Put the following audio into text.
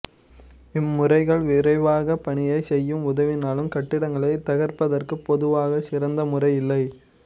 இம் முறைகள் விரைவாக பணியை செய்ய உதவினாலும் கட்டிடங்களை தகர்ப்பதற்கு பொதுவாக சிறந்த முறை இல்லை